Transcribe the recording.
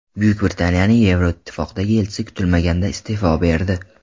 Buyuk Britaniyaning Yevroittifoqdagi elchisi kutilmaganda iste’fo berdi.